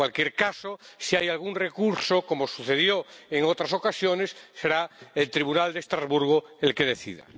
En cualquier caso, si hay algún recurso, como sucedió en otras ocasiones, será el Tribunal de Estrasburgo el que decida.